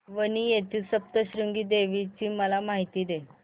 वणी येथील सप्तशृंगी देवी ची मला माहिती दे